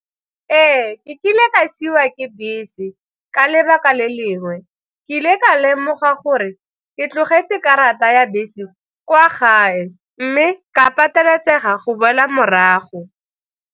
Ee, ke kile ka siiwa ke bese ka lebaka le lengwe, ke ile ka lemoga gore ke tlogetse karata ya bese kwa gae mme ka pateletsega go boela morago.